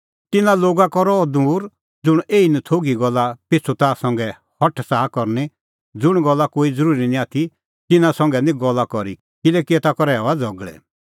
तिन्नां लोगा का रह दूर ज़ुंण एही नथोघी गल्ला पिछ़ू ताह संघै हठ च़ाहा करनी ज़ुंण गल्ला कोई ज़रूरी निं आथी तिन्नां संघै निं गल्ला करी किल्हैकि ताखा आसा थोघ कि एता करै हआ झ़गल़ै